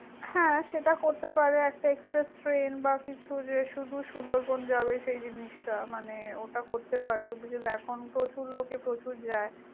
হ্যাঁ, সেটা করতে পারে, একটা express train বা কিছু, যেটা শুধু সুন্দরবন যাবে সেই জিনিসটার মানে ওটা করতে পারে। Because এখন তো প্রচুর লোকে প্রচুর যায়।